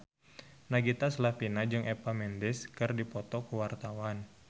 Nagita Slavina jeung Eva Mendes keur dipoto ku wartawan